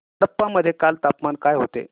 कडप्पा मध्ये काल तापमान काय होते